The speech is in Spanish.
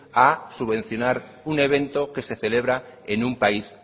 a subvencionar un evento que se celebra en un país